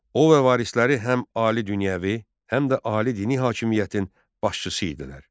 O və varisləri həm ali dünyəvi, həm də ali dini hakimiyyətin başçısı idilər.